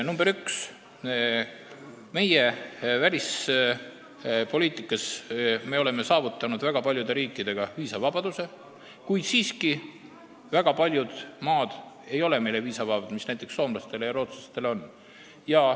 Esiteks, me oleme välispoliitikas paljude riikidega viisavabaduse saavutanud, kuid siiski ei ole väga paljud maad meile viisavabadust andnud, ehkki näiteks soomlastele ja rootslastele on.